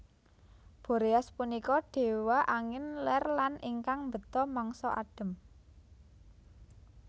Boreas punika dewa angin ler lan ingkang mbeta mangsa adhem